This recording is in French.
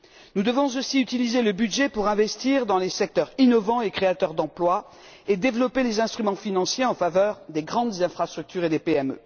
Nous devons aussi utiliser le budget pour investir dans les secteurs innovants et créateurs d'emploi et développer les instruments financiers en faveur des grandes infrastructures et des PME.